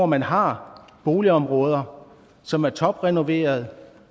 man har boligområder som er toprenoverede